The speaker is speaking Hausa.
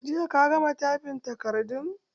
Jiya ka gama taifin takardun?